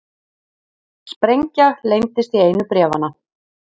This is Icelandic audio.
Sprengja leyndist í einu bréfanna